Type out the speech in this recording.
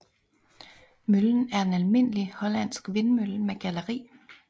Møllen er en almindelig hollandsk vindmølle med galleri